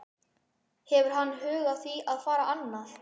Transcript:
Hefur hann hug á því að fara annað?